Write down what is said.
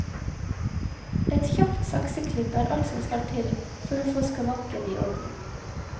Et kjapt sakseklipp er alt som skal til for å få skavanken i orden.